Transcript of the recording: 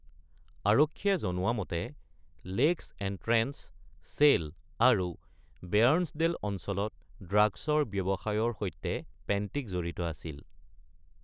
আৰক্ষীয়ে জনোৱা মতে, লেকছ এণ্ট্ৰেন্স, ছেল, আৰু বেয়াৰ্নছডেল অঞ্চলত ড্ৰাগছৰ ব্যৱসায়ৰ সৈতে পেন্টিক জড়িত আছিল।